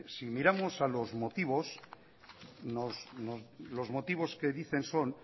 si miramos a los motivos los motivos que dicen son